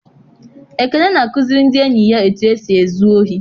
Ekene na-akụziri ndị enyi ya etu esi ezu ohi.